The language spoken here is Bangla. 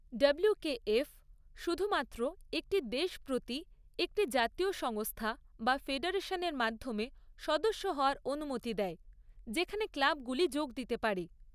ডাব্লুকেএফ শুধুমাত্র একটি দেশ প্রতি একটি জাতীয় সংস্থা বা ফেডারেশনের মাধ্যমে সদস্য হওয়ার অনুমতি দেয়, যেখানে ক্লাবগুলি যোগ দিতে পারে।